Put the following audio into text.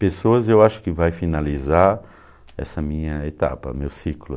Pessoas, eu acho que vai finalizar essa minha etapa, meu ciclo.